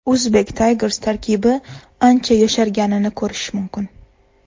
Uzbek Tigers tarkibi ancha yosharganini ko‘rish mumkin.